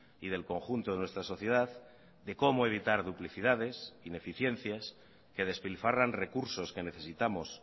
y del conjunto de nuestra sociedad de cómo evitar duplicidades ineficiencias que despilfarran recursos que necesitamos